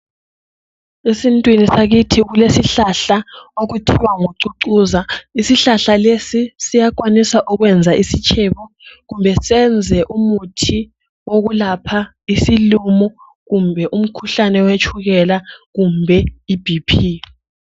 Esintwini sakithi kulesihlahla okuthiwa ngucucuza. Isihlahla lesi siyenelisa ukwenza isitshebo kumbe senze umuthi wokulapha isilumo kumbe umkhuhlane wetshukela kumbe iBP.